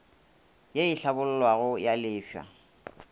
ye e hlabollwago ya lefase